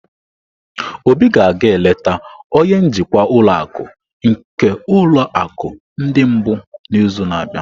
Obi ga-aga eleta onye njikwa ụlọ akụ nke ulo akụ ndi mbu n'izu na-abịa.